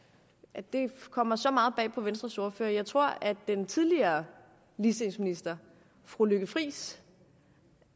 at det kommer så meget bag på venstres ordfører jeg tror at den tidligere ligestillingsminister fru lykke friis